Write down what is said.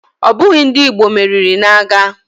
Ọ bụghị ndị Igbo meriri n'agha